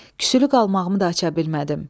Küsülü qalmağımı da aça bilmədim.